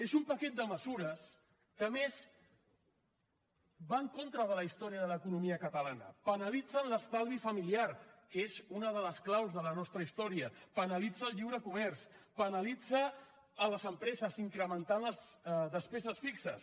és un paquet de mesures que a més va en contra de la història de l’economia catalana penalitzen l’estalvi familiar que és una de les claus de la nostra història penalitza el lliure comerç penalitza les empreses els incrementa les despeses fixes